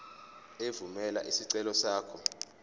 evumela isicelo sakho